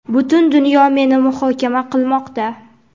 Butun dunyo meni muhokama qilmoqda.